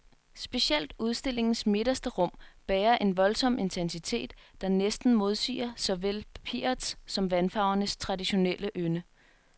Specielt udstillingens midterste rum bærer en voldsom intensitet, der næsten modsiger såvel papirets som vandfarvernes traditionelle ynde.